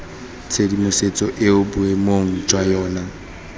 tshedimosetso eo boemong jwa yona